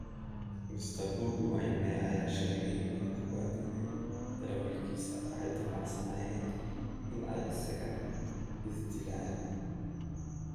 Mr Bobi Wine ayaa sheegay in kuwa dilay darawalkiisa ay damacsanaayeen in ay isaga is dilaan.